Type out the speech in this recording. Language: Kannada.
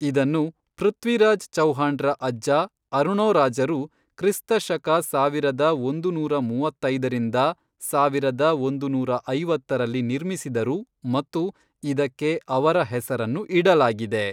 ಇದನ್ನು ಪೃಥ್ವಿರಾಜ್ ಚೌಹಾಣ್ರ ಅಜ್ಜ ಅರುಣೋರಾಜರು ಕ್ರಿಸ್ತ ಶಕ ಸಾವಿರದ ಒಂದು ನೂರಾ ಮೂವತ್ತೈದರಿಂದ ಸಾವಿರದ ಒಂದು ನೂರಾ ಐವತ್ತರಲ್ಲಿ ನಿರ್ಮಿಸಿದರು ಮತ್ತು ಇದಕ್ಕೆ ಅವರ ಹೆಸರನ್ನು ಇಡಲಾಗಿದೆ.